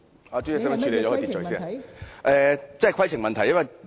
我提出的真是規程問題。